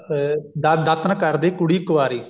ਅਮ ਦਾਤਣ ਕਰਦੀ ਕੁੜੀ ਕਵਾਰੀ